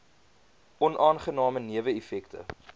onaangename newe effekte